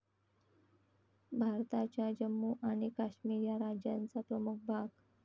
भारताच्या जम्मू आणि काश्मीर या राज्याचा प्रमुख भाग.